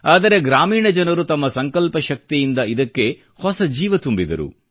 ಆದರೆ ಗ್ರಾಮೀಣ ಜನರು ತಮ್ಮ ಸಂಕಲ್ಪ ಶಕ್ತಿಯಿಂದ ಇದಕ್ಕೆ ಹೊಸ ಜೀವ ತುಂಬಿದರು